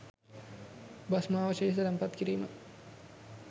භෂ්මාවශේෂ තැන්පත් කිරීම